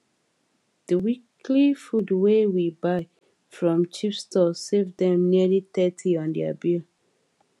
di weekly food wey we buy from cheap store save dem nearly thirty on their bill